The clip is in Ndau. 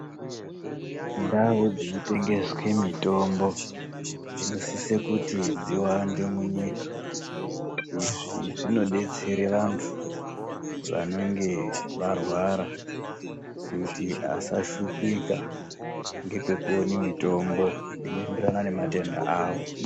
Ndau dzinotengeswe mitombo dzinosise kuti dziwande munyika. Izvi zvinodetsere vantu vanenge varwara kuti vasashupika ngepekuone mitombo inoenderana nematenda awo.